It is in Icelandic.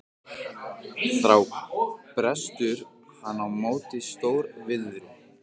Þá brestur hann á með stór- viðri.